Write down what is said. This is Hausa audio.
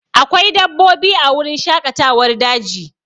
Akwai dabbobi a wurin shaƙatawar daji